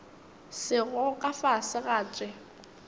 sego ka fase ga tše